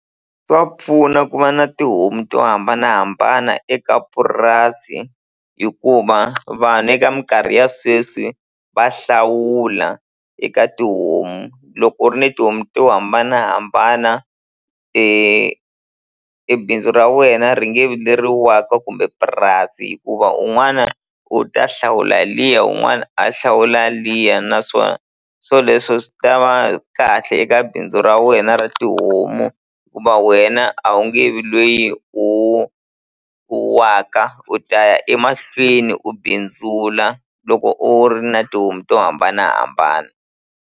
Swa pfuna ku va na tihomu to hambanahambana eka purasi hikuva vanhu eka minkarhi ya sweswi va hlawula eka tihomu loko u ri ni tihomu to hambanahambana e bindzu ra wena ri nge vi leri waka kumbe purasi hikuva un'wana u ta hlawula liya un'wana a hlawula liya naswona swoleswo swi ta va kahle eka bindzu ra wena yena ra tihomu ku va wena a wu nge vi lweyi u u waka u ta ya emahlweni u bindzula loko u ri na tihomu to hambanahambana.